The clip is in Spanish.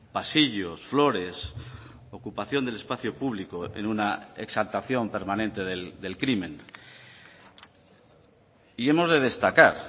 pasillos flores ocupación del espacio público en una exaltación permanente del crimen y hemos de destacar